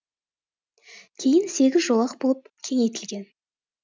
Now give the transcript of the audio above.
кейін сегіз жолақ болып кеңейтілген